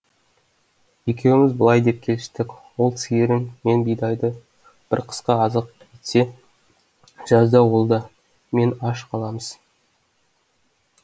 екеуміз былай деп келістік ол сиырын мен бидайды бір қысқа азық етсе жазда ол да мен де аш қаламыз